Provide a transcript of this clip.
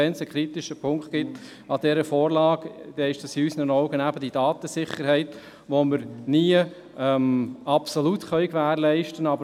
Wenn es einen kritischen Punkt bei dieser Vorlage gibt, dann ist dies in unseren Augen die Datensicherheit, die wir nie absolut gewährleisten können.